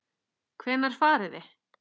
Hvenær farið þið?